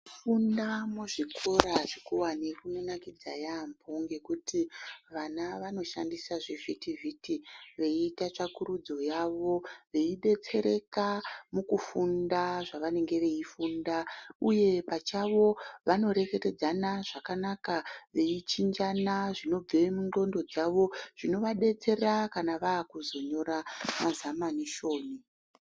Kufunda muzvikora zvikuwani kunonakidza yaampo ngekuti vana vanoshandisa zvivhiti vhiti veiita tsvakurudzo yavo veidetsereka mukufunda zvavanenge veifunda uye pachavo vanorekwterzana zvakanaka veichinjana zvinobve mundxondo dzawo zvinova detsera kana vava kuzonyora mazamanisheni.